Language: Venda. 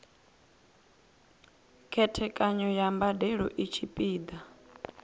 khethekanyo ya mbadelo i tshipiḓa